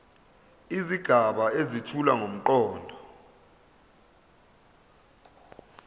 izigaba ezethula ngomqondo